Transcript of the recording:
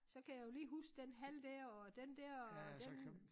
Så kan jeg jo lige huske den hal dér og den dér og den